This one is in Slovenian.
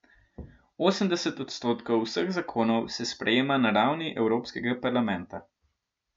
Osemdeset odstotkov vseh zakonov se sprejema na ravni evropskega parlamenta.